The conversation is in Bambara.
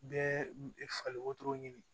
Bɛɛ fali wotoro ɲini